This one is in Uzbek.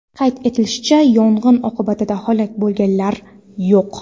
Qayd etilishicha, yong‘in oqibatida halok bo‘lganlar yo‘q.